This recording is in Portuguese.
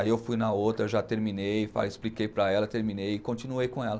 Aí eu fui na outra, já terminei, expliquei para ela, terminei e continuei com ela.